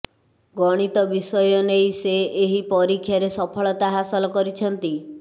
ଗଣିତ ବିଷୟ ନେଇ ସେ ଏହି ପରୀକ୍ଷାରେ ସଫଳତା ହାସଲ କରିଛନ୍ତି